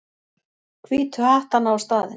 Hvítu hattana á staðinn.